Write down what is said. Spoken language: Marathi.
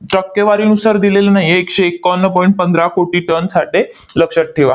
टक्केवारीनुसार दिलेलं नाही आहे. एकशे एकावन्न point पंधरा कोटी टन साठे लक्षात ठेवा.